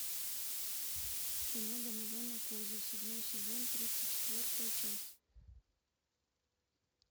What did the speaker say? кино домовенок кузя седьмой сезон тридцать четвертая часть